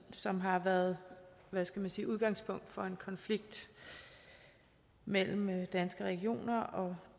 som har været hvad skal man sige udgangspunkt for en konflikt mellem danske regioner og